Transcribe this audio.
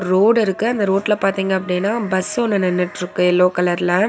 ரோடிருக்கு அந்த ரோட்ல பாத்தீங்க அப்டின்னா பஸ் ஒன்னு நின்னுட்ருக்கு எல்லோ கலர்ல .